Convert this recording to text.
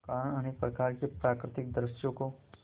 कारण अनेक प्रकार के प्राकृतिक दृश्यों को